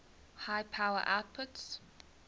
high power outputs